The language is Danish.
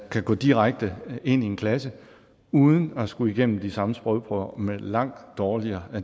kan gå direkte ind i en klasse uden at skulle igennem de samme sprogprøver med langt dårligere